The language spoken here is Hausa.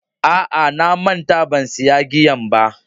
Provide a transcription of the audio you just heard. A'a na manta ban siya giyan ba.